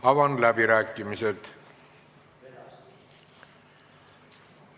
Avan läbirääkimised.